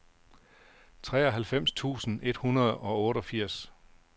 treoghalvfems tusind et hundrede og otteogfirs